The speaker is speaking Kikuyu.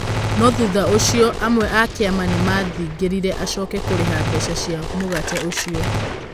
No thutha ũcio amwe a kĩama nĩmathing'ĩrĩirie acoke kũrĩha mbeca cia mũgate ũcio.